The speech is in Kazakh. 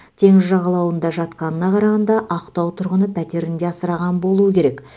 теңіз жағалауында жатқанына қарағанда ақтау тұрғыны пәтерінде асыраған болуы керек